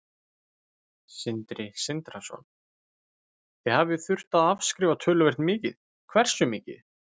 Sindri Sindrason: Þið hafið þurft að afskrifa töluvert mikið, hversu mikið?